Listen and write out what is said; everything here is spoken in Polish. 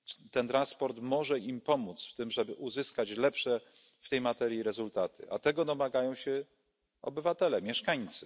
Ten transport może im pomóc w tym, żeby uzyskać lepsze w tej materii rezultaty, a tego domagają się obywatele, mieszkańcy.